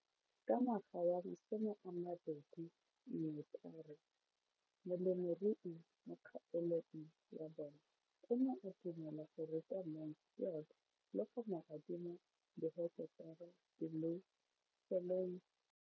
Ka ngwaga wa 2013, molemirui mo kgaolong ya bona o ne a dumela go ruta Mansfield le go mo adima di heketara di le 12 tsa naga.